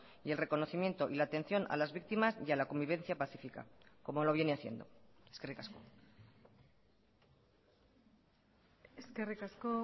y el reconocimiento y la atención a las víctimas y a la convivencia pacífica como lo viene haciendo eskerrik asko eskerrik asko